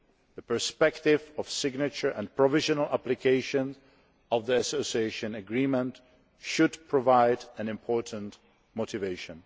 The perspective of signature and provisional application of the Association Agreement should provide an important motivation.